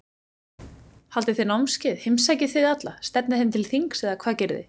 Haldið þið námskeið, heimsækið þið alla, stefnið þeim til þings eða hvað gerið þið?